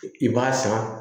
I b'a san